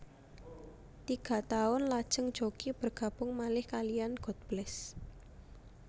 Tiga taun lajeng Jockie bergabung malih kaliyan God Bless